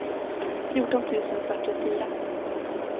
fjorton tusen fyrtiofyra